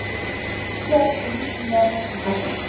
Andlegar og líkamlegar veitingar.